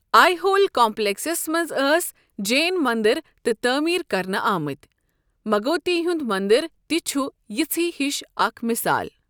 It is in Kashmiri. آئہول کمپلیکسس منز ٲسۍ جین مندر تہِ تعمیر کرنہٕ آمٕتۍ، مگوتی ہُنٛد مندر تہِ چھُ یِژھےٕ ہِش اکھ مثال۔